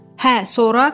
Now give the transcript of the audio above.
Hə, sonra?